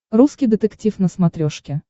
русский детектив на смотрешке